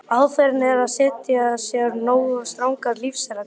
Aðferðin er að setja sér nógu strangar lífsreglur.